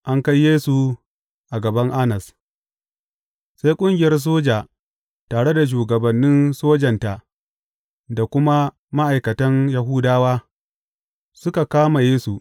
An kai Yesu a gaban Annas Sai ƙungiyar soja tare da shugaban sojanta da kuma ma’aikatan Yahudawa suka kama Yesu.